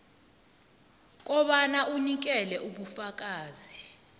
kobana unikele ubufakazi